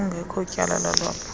kungekho tyala lalwaphulo